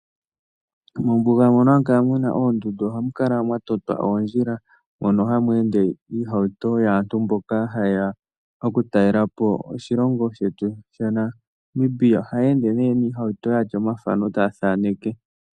Mombuga mono ha mu kala mu na oondundu ohamu kala mwa totwa oondjila mono hamu ende iihawuto yaantu mboka haye ya okutalelapo oshilongo shetu shaNamibia, ohaya ende ne yatya omathano taya thaaneke.